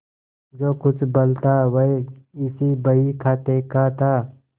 जो कुछ बल था वह इसी बहीखाते का था